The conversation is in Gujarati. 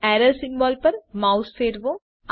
એરર સિમ્બોલ પર માઉસ ફેરવો